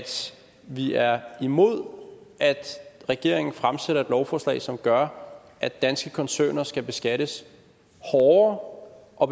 vi er imod at regeringen fremsætter et lovforslag som gør at danske koncerner skal beskattes hårdere og